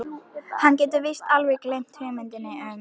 Hann getur víst alveg gleymt hugmyndinni um